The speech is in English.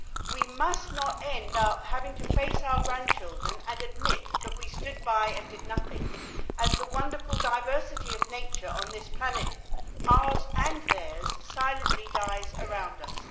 We must not end up having to face our grandchildren and admit that we stood by and did nothing as the wonderful diversity of nature on this planet ours and theirs silently died around us.